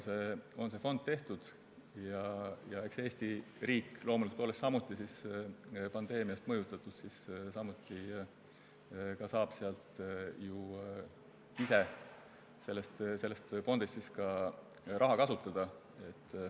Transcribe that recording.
Ja loomulikult eks Eesti riik, olles samuti pandeemiast mõjutatud, saab ka ise selle fondi raha kasutada.